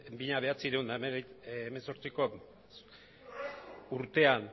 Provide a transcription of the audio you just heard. mila bederatziehun eta hemezortziko urtean